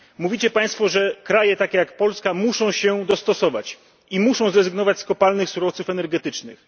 Mówicie Państwo, że kraje takie jak Polska muszą się dostosować i muszą zrezygnować z kopalnych surowców energetycznych.